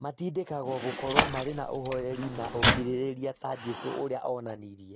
Matindĩkagwo gũkorũo marĩ na ũhooreri na ũkirĩrĩria ta Jesũ ũrĩa onanirie.